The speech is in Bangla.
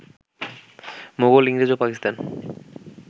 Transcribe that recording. মোগল, ইংরেজ ও পাকিস্তান